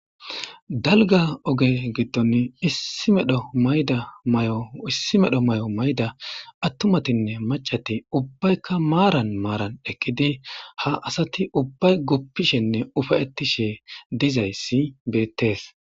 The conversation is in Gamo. Dalga oge gidon issi medho mayda mayo issi medho may'o mayida atumatine mac'ati ubayika maran maran eqidi ha asati ubay gupishene ufaytishe dizaysi betes.